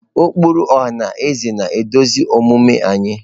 Ụkpụrụ ọha na eze na-eduzi omume anyị.